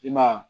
I ma ye wa